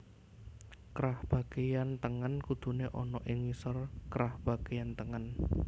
Krah bagéyan tengen kuduné ana ing ngisor krah bagéyan tengen